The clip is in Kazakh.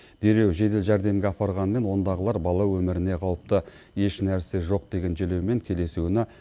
дереу жедел жәрдемге апарғанымен ондағылар бала өміріне қауіпті еш нәрсе жоқ деген желеумен келесі күні